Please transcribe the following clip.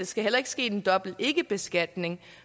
skal ske en dobbelt ikkebeskatning